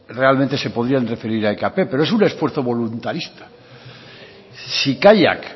realmente se podían referir a ekp pero es un esfuerzo voluntarista si kaiak